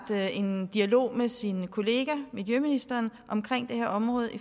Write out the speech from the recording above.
en dialog med sin kollega miljøministeren om det her område